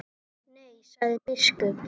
Nei, sagði biskup.